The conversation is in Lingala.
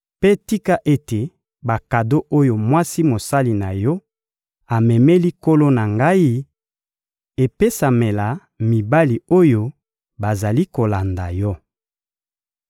Mpe tika ete bakado oyo mwasi mosali na yo amemeli nkolo na ngai epesamela mibali oyo bazali kolanda yo.